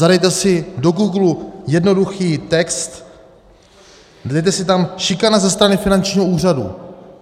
Zadejte si do Googlu jednoduchý text, dejte si tam: Šikana ze strany finančního úřadu.